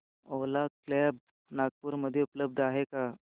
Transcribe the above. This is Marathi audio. ओला कॅब्झ नागपूर मध्ये उपलब्ध आहे का